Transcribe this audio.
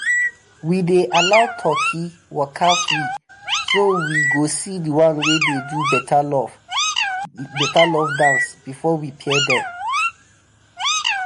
we dey allow turkey waka free so we go see the one wey dey do better love dance before we pair dem.